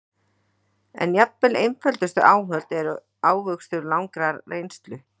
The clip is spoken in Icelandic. En jafnvel einföldustu áhöld eru ávöxtur langrar reynslu.